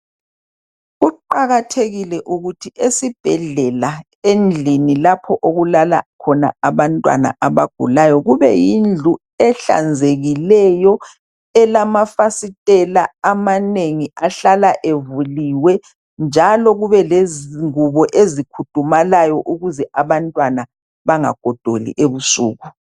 Kuqakathekile ukuthi esibhedlela endlini lapho okulala khona abantwana abagulayo kube yindlu ehlanzekileyo, elamafasitela amanengi ahlala evuliwe njalo kube lezingubo ezikhudumalayo ukuze abantwana bangagodoli ebusuku.